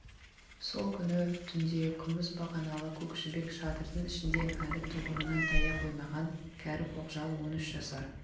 сол күні түнде күміс бағаналы көк жібек шатырдың ішінде әлі тұғырынан тая қоймаған кәрі көкжал он үш жасар